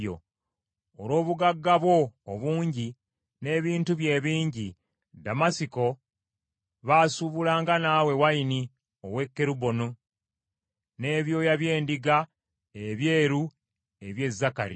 “ ‘Olw’obugagga bwo obungi, n’ebintu byo ebingi, Ddamasiko baasuubulanga naawe wayini ow’e Keruboni, n’ebyoya by’endiga ebyeru eby’e Zakari.